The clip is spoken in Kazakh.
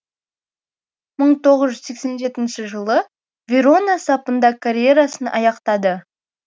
мың тоғыз жүз сексен жетінші жылы верона сапында карьерасын аяқтады